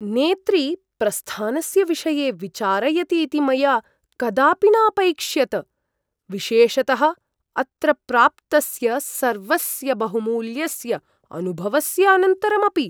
नेत्री प्रस्थानस्य विषये विचारयतीति मया कदापि न अपैक्ष्यत, विशेषतः अत्र प्राप्तस्य सर्वस्य बहुमूल्यस्य अनुभवस्य अनन्तरमपि।